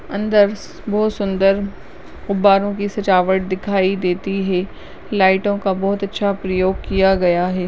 अंदर बहोत सुंदर गुब्बारों की सजावट दिखाई देती है लाइटों का बहोत अच्छा प्रयोग किया गया है ।